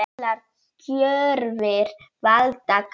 Allar gjörðir valda karma.